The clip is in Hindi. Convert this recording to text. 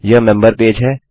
यह मेम्बर पेज है